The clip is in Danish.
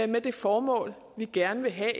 med det formål vi gerne vil have